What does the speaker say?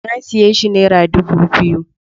Na siyo shi nera dubu biyu